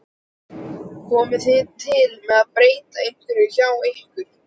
Komið þið til með að breyta einhverju hjá ykkur?